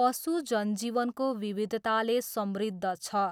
पशु जनजीवनको विविधताले समृद्ध छ।